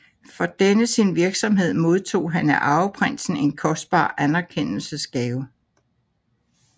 For denne sin virksomhed modtog han af arveprinsen en kostbar anerkendelsesgave